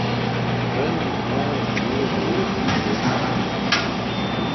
Nobeden od naju ne more narediti nič več zanj.